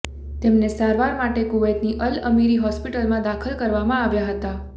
તેમને સારવાર માટે કુવૈતની અલ અમીરી હોસ્પિટલમાં દાખલ કરવામાં આવ્યા હતા